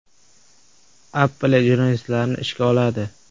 Apple jurnalistlarni ishga oladi.